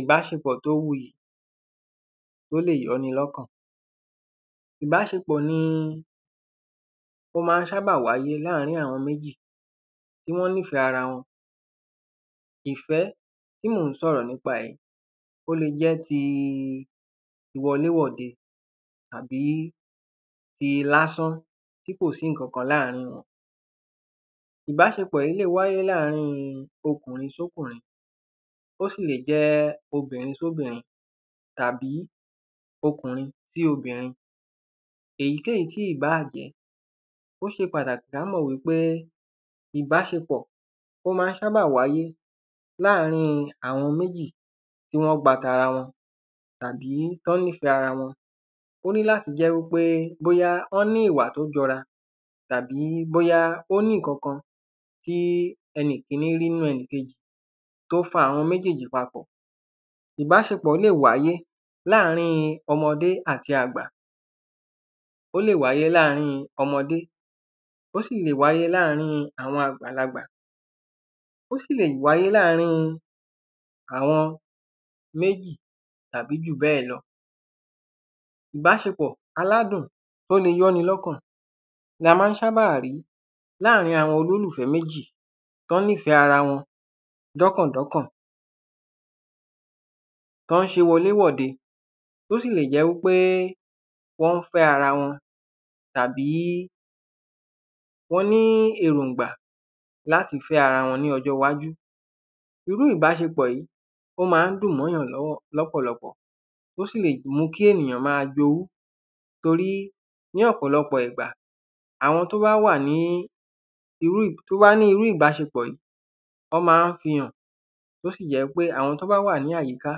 Ìbáṣepọ̀ tó wuyì tó lè yọ ni lọ́kàn. Ìbáṣepọ̀ ni ó má ń ṣábà wáyé láàrin àwọn méjì tí wọ́n nífẹ̀ẹ́ ara wọn. Ìfẹ́ tí mò ń sọ̀rọ̀ nípa ẹ̀ ó le jẹ́ ti wọléwọ̀de tàbí ti lásán tí kò sí nǹkan kan láàrin wọn. Ìbáṣepọ̀ yìí wáyé láàrin ọkùnrin sọ́kùnrin ó sì lè wáyé láàrin obìnrin sóbìrin àbí ọkùnrin sí obìnrin èyíkéyìí tí ì bá jẹ́ ó ṣe pàtàkì ká mọ̀ wípé ìbáṣepọ̀ ó má ń ṣábà wáyé láàrin àwọn méjì tí wọ́n gba tara wọn tàbí tí wọ́n nífẹ̀ẹ́ ara wọn ó ní láti jẹ́ wípé bóyá wọ́n ní ìwà tó jọra àbí wọ́n ní ìkankan tí ẹnì kíní rí nínú ẹnìkejì tó fa àwọn méjèjì papọ̀. Ìbáṣepọ̀ lè wáyé láàrin ọmọdé àti àgbà ó lè wáyé láàrin ọmọdé ó sì lè wáyé láàrin àgbàlagbà ó sì lè wáyé láàrin àwọn méjì tàbí jù bẹ́ẹ̀ lọ. Ìbáṣepọ̀ aládùn tó lè yọ ni lọ́kàn la má ń ṣábà rí láàrin àwọn olólùfẹ́ méjì tán nífẹ̀ẹ́ ara wọn. Tán ń ṣe wọlé wọ̀de tó sì lè jẹ́ wípé wọ́n ń fẹ́ ara wọn tàbí wọ́n ní èròngbà láti fẹ́ ara wọn ní ọjọ́ iwájú. Irú ìbáṣepọ̀ yìí ó má ń dùn mọ́yàn lọ́pọ̀ lọpọ̀ tó sì lè mú kí ènìyàn má jowú torí ní ọ̀pọ̀lọpọ̀ ìgbà àwọn tó bá wà ní irú ìbáṣepọ̀ yìí wọ́n má fi hàn ó sì jẹ́ wípé àwọn tán bá wà ní àyíká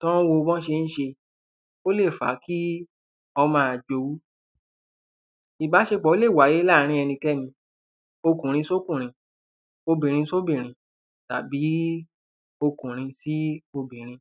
tán ń wo bọ́ ṣé ń ṣe ó lè fàá kí wọ́n má jowú. Ìbáṣepọ̀ lè wáyé láàrin ẹnikẹ́ni ọkùnrin sọ́kùnrin obìnrin sóbìrin tàbí ọkùnrin sí obìnrin.